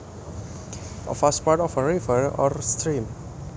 A fast part of a river or stream